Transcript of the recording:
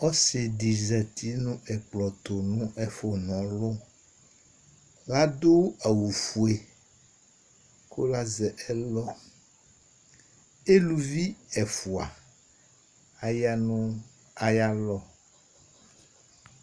Ɔsidi zɛti nʋ ɛkplɔ tu nʋ ɛfʋ na ɔlu Ladu awʋ fʋe kʋ lazɛ ɛlɔ Wluvo ɛfʋa aya nʋ ayʋ alɔ